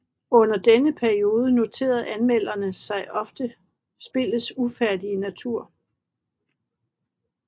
Under denne periode noterede anmelderne sig ofte spillets ufærdige natur